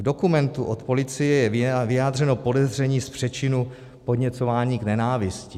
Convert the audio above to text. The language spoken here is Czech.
V dokumentu od policie je vyjádřeno podezření z přečinu podněcování k nenávisti.